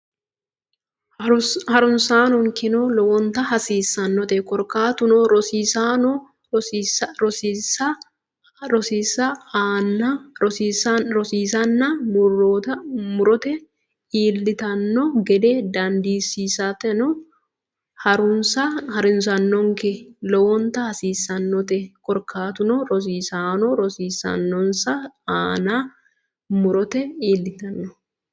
Ha runsi keeno lowonta hasiissannote korkaatuno rosiisaano rosiisansa aana murote iillitanno gede dandiissitanno Ha runsi keeno lowonta hasiissannote korkaatuno rosiisaano rosiisansa aana murote iillitanno.